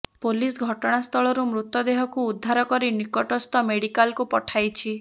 police ଘଟଣାସ୍ଥଳରୁ ମୃତଦେହକୁ ଉଦ୍ଧାର କରି ନିକଟସ୍ଥ ମେଡିକାଲକୁ ପଠାଇଛି